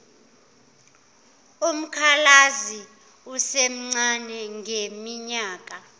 umkhalazi esemncane ngeminyaka